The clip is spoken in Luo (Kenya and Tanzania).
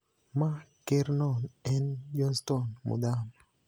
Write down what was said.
ma Kerno en Johnstone Muthama,